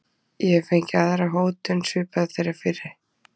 Ég hef fengið aðra hótun, svipaða þeirri fyrri.